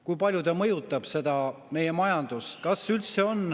Kui palju see mõjutab meie majandust?